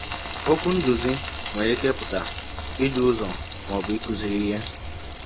Okwu “nduzi” nwere ike ịpụta idu ụzọ ma ọ bụ ịkụziri ihe.